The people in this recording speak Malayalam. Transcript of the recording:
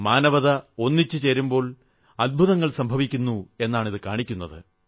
മാനവികത ഒരുമിച്ചു ചേരുമ്പോൾ അദ്ഭുതങ്ങൾ സംഭവിക്കുന്നു എന്നാണിത് കാണിക്കുന്നത്